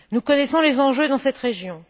Nous connaissons les enjeux dans cette région.